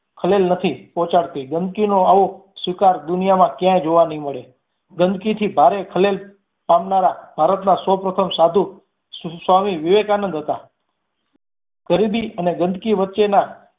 ખલેલ નથી પહોંચાડતી. ગંદકી નો આવો સ્વીકાર દુનિયામાં ક્યાંય જોવા નઈ મળે ગંદકી થી ભારે ખલેલ પામનારા ભારત ના સૌ પ્રથમ સાધુ સ્વામી વિવેકાનંદ હતા. ગરીબી અને ગંદકી વચ્ચેના